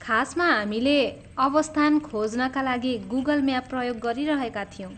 खासमा हामीले अवस्थान खोज्नका लागि गुगल म्याप प्रयोग गरिरहेका थियौँ।